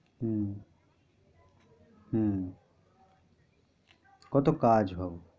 হম হম কত কাজ বাবা।